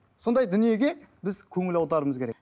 сондай дүниеге біз көңіл аударуымыз керек